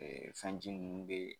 fɛn ji munnu bɛ.